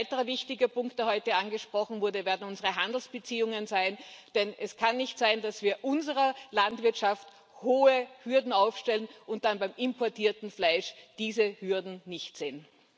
Ein weiterer wichtiger Punkt, der heute angesprochen wurde, werden unsere Handelsbeziehungen sein, denn es kann nicht sein, dass wir unserer Landwirtschaft hohe Hürden aufstellen und dann beim importierten Fleisch diese Hürden nicht sehen.